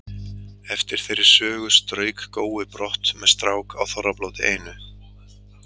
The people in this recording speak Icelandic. Eftir þeirri sögu strauk Gói brott með strák á Þorrablóti einu.